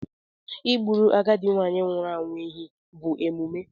Ị Egburu agadi nwụrụ anwụ ehi bụ emume.